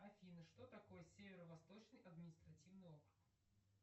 афина что такое северо восточный административный округ